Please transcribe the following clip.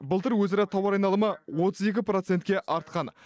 былтыр өзара тауар айналымы отыз екі процентке артқан